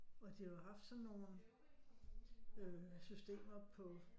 Og de har jo haft sådan nogle systemer på